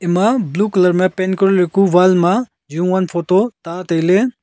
ema blue colour ma paint koriku wall ma jowan photo ta tailey.